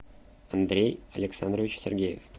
андрей александрович сергеев